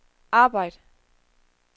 arbejd